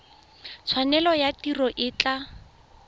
tshwanelo ya tiro e tla